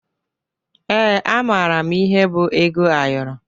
Ee, amara m ihe bụ ego ayọrọ